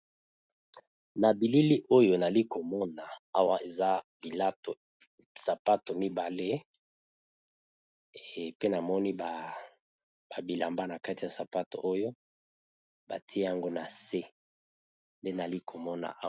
Na bilili oyo nali komona awa eza bilato sapato mibale pe namoni ba bilamba na kati ya sapato oyo batye yango na se nde nalikomona awa.